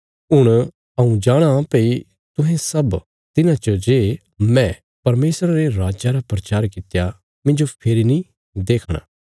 हुण हऊँ जाणाँ भई तुहें सब तिन्हां च जे हऊँ परमेशरा रे राज्जा रा प्रचार कित्या मिन्जो फेरी नीं देखणा